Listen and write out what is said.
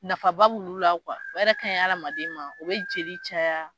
Nafaba b'olu la o yɛrɛ ka ɲi hadamaden ma o bɛ jeli caya